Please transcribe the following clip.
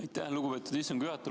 Aitäh, lugupeetud istungi juhataja!